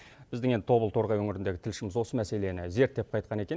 біздің енді тобыл торғай өңіріндегі тілшіміз осы мәселені зерттеп қайтқан екен